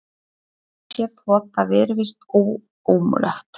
Að breyta sér, þótt það virðist ómögulegt.